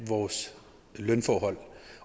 vores lønforhold